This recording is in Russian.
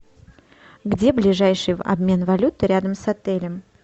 где ближайший обмен валюты рядом с отелем